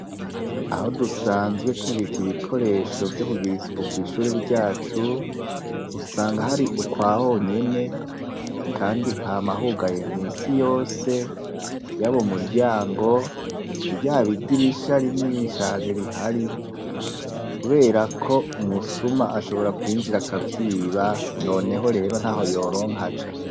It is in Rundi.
Aho dusanzwe tubika ibikoresho vyo kugira isuku kw'ishure ryacu usanga hari ukwa honyene kandi hama hugaye misi yose, yaba umuryango ryaba idirisha rinini cane rihari, kubera ko umusuma ashobora kwinjira akavyiba noneho rero ntaho yoronka aca.